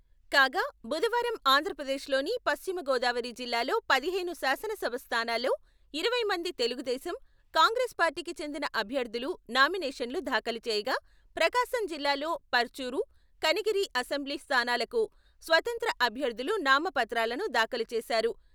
కాగా, బుధవారం ఆంధ్రప్రదేశ్లోని పశ్చిమ గోదావరి జిల్లాలో పదిహేను శాసనసభ స్థానాల్లో ఇరవై మంది తెలుగుదేశం, కాంగ్రెస్ పార్టీకి చెందిన అభ్యర్థులు నామినేషన్లు దాఖలు చేయగా, ప్రకాశం జిల్లాలో పర్చూరు, కనిగిరి అసెంబ్లీ స్థానాలకు స్వతంత్ర అభ్యర్థులు నామపత్రాలను దాఖలు చేశారు.